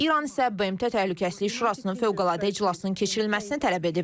İran isə BMT Təhlükəsizlik Şurasının fövqəladə iclasının keçirilməsini tələb edib.